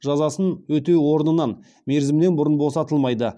жазасын өтеу орнынан мерзімінен бұрын босатылмайды